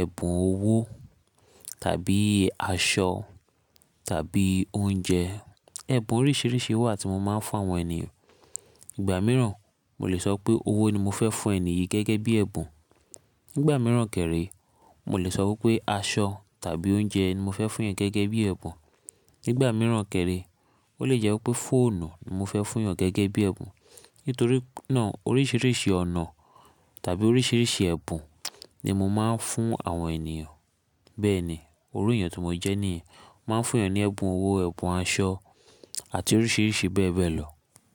ẹ̀bùn owó tàbí aṣọ tàbí oúnjẹ. Ẹ̀bùn oríṣìíríṣìí wà tí mo máa ń fún àwọn ènìyàn. Ìgbà mìíràn, mo lè sọ pé owó ni mo fẹ́ fún ènìyí gẹ́gẹ́ bí ẹ̀bùn. Nígbà mìíràn kẹ̀ré, mo lè sọ wípé aṣọ tàbí oúnjẹ ni mo fẹ́ fún ènìyàn gẹ́gẹ́ bí ẹ̀bùn. Nígbà mìíràn kẹ̀rí, ó lè jẹ́ wípé fóònù ni mo fẹ́ fún ènìyàn gẹ́gẹ́ bí ẹ̀bùn. Nítorí náà oríṣìíríṣìí ọ̀nà tàbí oríṣìíríṣìí ẹ̀bùn ni mo máa ń fún àwọn ènìyàn. Bẹ́ẹ̀ ni, orù èèyàn tó mo jẹ́ nìyẹn, mo máa ń fún èèyàn ní ẹ̀bùn owó, ẹ̀bùn aṣọ àti oríṣìíríṣìí bẹ́ẹ̀ bẹ́ẹ̀ lọ.